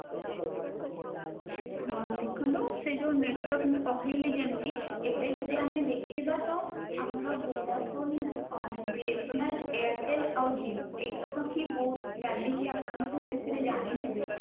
ହଁ ଦେଖନ୍ତୁ ସେ network ମୁ ପଠେଇଲି ଯେମିତି ଏବେ ଯଦି ଆମେ ଦେଖିବା ତ ଆମର vodafone, BSNL airtel ଆଉ Jio ଏଇଟା ଆମର ଚାଲିଛି ଆପଣ ଯେତିକି ଜାଣିଥିବେ